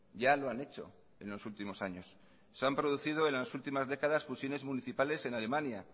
ya lo han hecho en los últimos años se han producido en las últimas décadas fusiones municipales en alemania